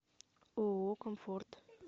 ооо комфорт